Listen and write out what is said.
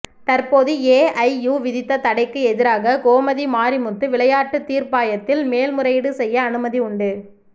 தற்போது ஏஐயு விதித்த தடைக்கு எதிராக கோமதி மாரிமுத்து விளையாட்டு தீர்ப்பாயத்தில் மேல்முறையீடு செய்ய அனுமதி உண்டு